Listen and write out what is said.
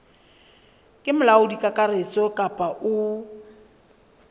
ke molaodi kakaretso kapa o